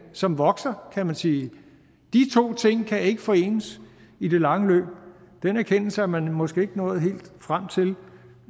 som vokser kan man sige de to ting kan ikke forenes i det lange løb den erkendelse er man måske ikke nået helt frem til